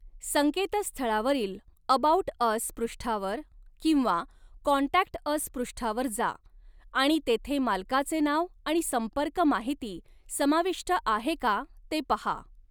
संकेतस्थळावरील 'about us' पृष्ठावर किंवा 'contact us' पृष्ठावर जा आणि तेथे मालकाचे नाव आणि संपर्क माहिती समाविष्ट आहे का ते पहा.